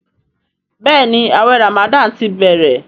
Béèni awé ramadan tí bẹrẹ.